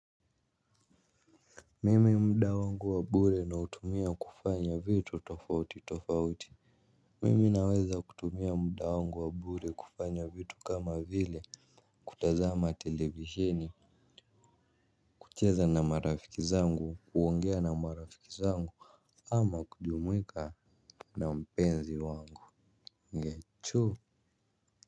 Mimi muda wangu wa bure nautumia kufanya vitu tofauti tofauti. Mimi naweza kutumia muda wangu wa bure kufanya vitu kama vile kutazama televisheni kucheza na marafiki zangu. Kuongea na marafiki zangu ama kujumuika na mpenzi wangu Ngechu.